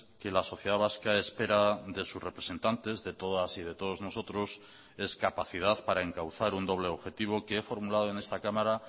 que la sociedad vasca espera de sus representantes de todas y de todos nosotros es capacidad para encauzar un doble objetivo que he formulado en esta cámara